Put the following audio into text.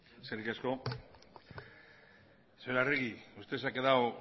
eskerrik asko señora arregi usted se ha quedado